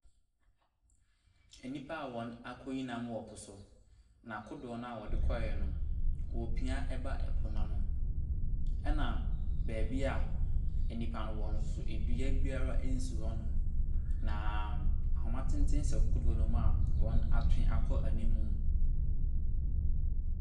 Nnipa a wɔakɔyi nam wɔ po so. Na kodoɔ no a wɔde kɔeɛ no, wɔrepia ba po no ano, ɛna baabi a nnipa no wɔ no nso, dua biara nsi hɔnom. Naaaa ahoma tenten sɔ kodoɔ no mu a wɔatwe akɔ anim.